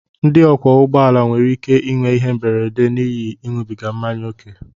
ndị ọkwọ ụgbọala nwere ike inwe ihe mberede n'ihi ịṅụbiga mmanya ókè